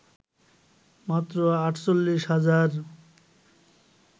মাত্র ৪৮ হাজার